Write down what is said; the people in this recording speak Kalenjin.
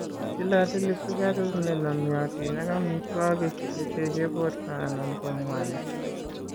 Tilatili sikaruk ne nomiotin ak amitwogik che teche borto anan ko mwanik.